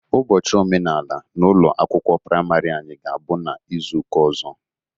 Ụbochị omenala n'ụlọ akwụkwọ prịmarị anyị ga-abụ n'ịzụụka ọzọ.